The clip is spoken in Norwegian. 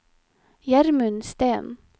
Gjermund Steen